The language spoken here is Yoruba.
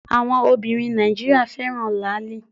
Àwọn Obìnrin Nàìjíríà fẹ́ràn Làálì